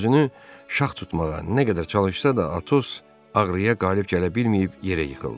Özünü şax tutmağa nə qədər çalışsa da, Atos ağrıya qalib gələ bilməyib yerə yıxıldı.